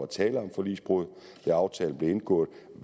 tale om forligsbrud da aftalen blev indgået